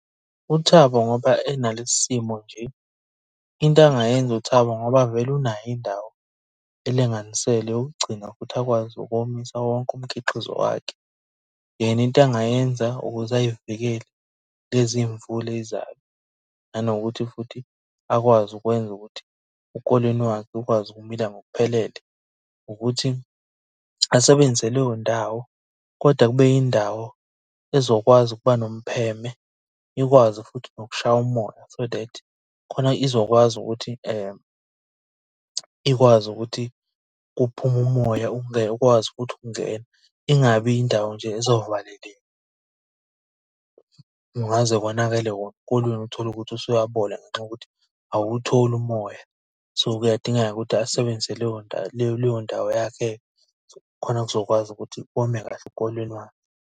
UThabo ngoba enalesi simo nje, into angayenza uThabo ngoba vele unayo indawo elinganiselwe yokugcina futhi akwazi ukomisa wonke umkhiqizo wakhe. Yena into engayenza ukuze ay'vikele kulezi iy'mvula ey'zayo, nanokuthi futhi akwazi ukwenza ukuthi ukolweni wakhe ukwazi ukumila ngokuphelele, ukuthi asebenzise leyo ndawo kodwa kube yindawo ezokwazi ukuba nompheme, ikwazi futhi nokushaya umoya. So that khona izokwazi ukuthi ikwazi ukuthi kuphume umoya ukwazi ukuthi ungene. Ingabi indawo nje ezovaleleka. Kungaze konakale wona ukolweni uthole ukuthi usuyabola ngenxa yokuthi awuwutholi umoya. So, kuyadingeka ukuthi asebenzise leyo ndawo leyo leyo ndawo yakhe khona kuzokwazi ukuthi wome kahle ukolweni wakhe.